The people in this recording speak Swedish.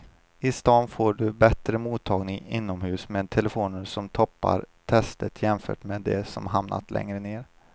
I stan får du bättre mottagning inomhus med telefonerna som toppar testet jämfört med de som hamnat längre ner.